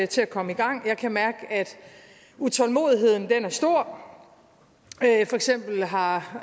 til at komme i gang og jeg kan mærke at utålmodigheden er stor for eksempel har